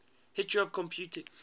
history of computing